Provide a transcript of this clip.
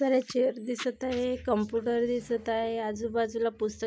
वर एक चेअर दिसत आहे कम्प्युटर दिसत आहे आजूबाजूला पुस्तके--